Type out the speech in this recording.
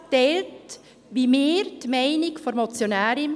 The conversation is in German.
Der Regierungsrat teilt wie wir die Meinung der Motionärin.